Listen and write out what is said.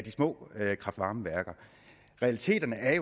små kraft varme værker realiteten er